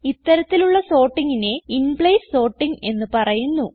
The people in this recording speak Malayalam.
ഇത്തരത്തിലുള്ള sortingനെ ഇൻപ്ലേസ് സോർട്ടിംഗ് എന്ന് പറയുന്നു